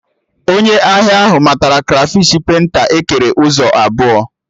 Onye ahịa ahụ matara krafish penta ekere ụzọ abụọ